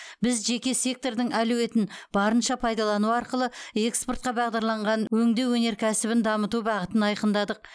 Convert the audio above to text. біз жеке сектордың әлеуетін барынша пайдалану арқылы экспортқа бағдарланған өңдеу өнеркәсібін дамыту бағытын айқындадық